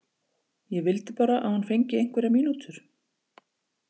Ég vildi bara að hún fengi einhverjar mínútur.